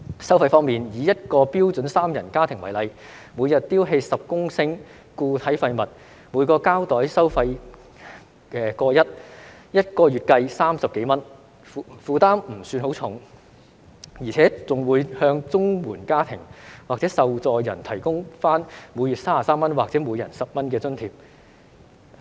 收費方面，以一個標準三人家庭為例，每日丟棄10公升固體廢物，每個膠袋收費 1.1 元，一個月計30多元，負擔不算很重，而且更會向綜援家庭或受助人提供每月33元或每人10元的津貼。